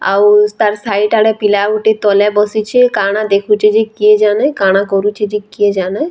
ଆଉ ତାର୍ ସାଇଟ୍ ଆଡେ ପିଲା ଗୁଟେ ତଲେ ବସିଛେ କାଣା ଦେଖୁଛେ ଯେ କେଜାନେ କାଣା କରୁଛେ ଯେ କେଜାନେ।